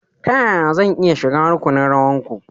Ta yaya zan iya shiga rukunin rawanku?